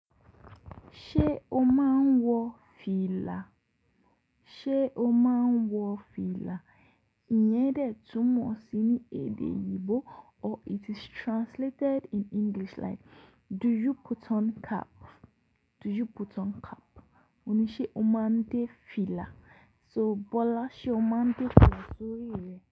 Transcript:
Ṣé o máa ń wọ fìlà? Ṣé o máa ń wọ fìlà? Iyẹn dẹ̀ túmọ̀ sí edè oyinbo or it is translated in English like do you put on cap? Do you put on cap? Oni ṣe o máa ń dé fìlà. So, Bola ṣe o máa ń dé fìlà sórí rẹ?